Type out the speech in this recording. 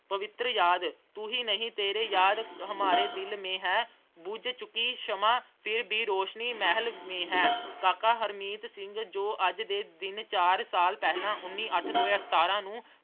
ਪਵਿੱਤਰ ਯਾਦ, ਤੂੰ ਹੀ ਨਹੀਂ ਤੇਰੇ ਯਾਰ ਅਹ ਹਮਾਰੇ ਦਿਲ ਮੇਂ ਹੈ, ਬੁਝ ਚੁੱਕੀ ਛਮਾ ਫਿਰ ਵੀ ਰੌਸ਼ਨੀ ਹਮਾਰੇ ਮਹਿਲ ਮੇਂ ਹੈ। ਕਾਕਾ ਹਰਮੀਤ ਸਿੰਘ ਜੋ ਅੱਜ ਦੇ ਦਿਨ ਚਾਰ ਸਾਲ ਪਹਿਲਾਂ ਉੱਨੀ ਅੱਠ ਦੋ ਹਜ਼ਾਰ ਸਤਾਰਾਂ ਨੂੰ